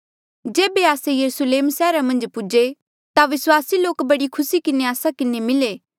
जेबे आस्से यरुस्लेम सैहरा मन्झ पूजे ता विस्वासी लोक बड़ी खुसी किन्हें आस्सा किन्हें मिले